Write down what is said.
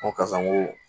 N ko karisa n ko